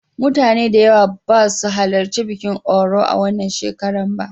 Mutane da yawa ba su halarci bikin Oro a wannan shekara ba.